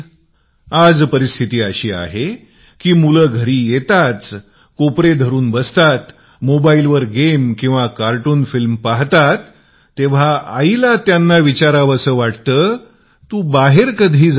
आज स्थिती अशी आहे की मुले घरी येताच कोपऱ्यात बसुन मोबाईलवर गेम्स किंवा कार्टून फिल्म्स पाहातात तेंव्हा आईला ओरडून विचारावे लागते की तू बाहेर कधी जाशील